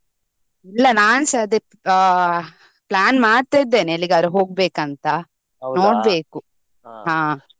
ಇಲ್ಲ ನನ್ಸ ಅದೇ ಆ plan ಮಾಡ್ತಾ ಇದ್ದೇನೆ ಎಲ್ಲಿಗಾದ್ರೂ ಹೋಗ್ಬೇಕು ಅಂತ .